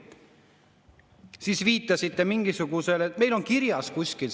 Siis viitasite, et meil on see siin seletuskirjas kirjas kuskil.